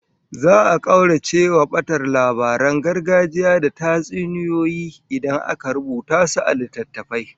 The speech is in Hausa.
Za'a kaucewa batar labaran gargajiya da tatsuniyoyi idan aka rubuta su a littattafai